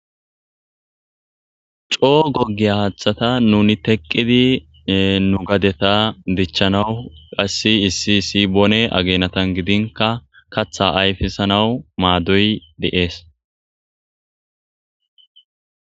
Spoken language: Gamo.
c'oo gogiya hathata nuni teqidi nu gadeta dichanawu qasi issi isi boone aginatan gidinka katha ayfisanawu madoy de'es.